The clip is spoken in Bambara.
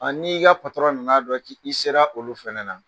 n'i ka nan'a dɔn k'i sera olu fana na